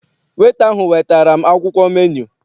Weta ahụ wetara m akwụkwọ menu.